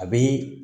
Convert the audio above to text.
A bɛ